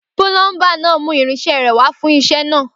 Púlọńbà nà mú ìrínse rẹ wà fún sẹ nà.